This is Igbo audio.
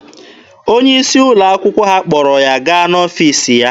Onye isi ụlọ akwụkwọ ha kpọrọ ya gaa n'ọfiisi ya.